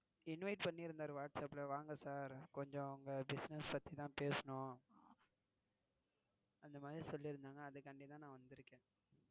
Invite பன்னிருந்தாரு Whatsapp ல வாங்க சார் கொஞ்சம் உங்க Business பத்தி தான் பேசனமுன்னு. அந்த மாதிரி சொல்லியிருந்தாங்க அதுக்கு வேண்டி தான் நான் வந்திருக்கேன்.